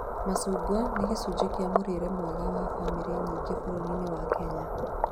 Macungwa nĩ gĩcunjĩ kĩa mũrĩre mwega wa bamĩrĩ nyingĩ bũrũri-inĩwa Kenya